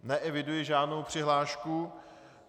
Neeviduji žádnou přihlášku.